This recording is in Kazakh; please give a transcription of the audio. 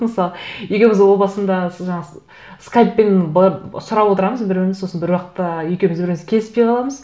мысалы екеуіміз о басында жаңа скайппен сұрап отырамыз бір біріміз сосын бір уақытта екеуіміз бір нәрсеге келіспей қаламыз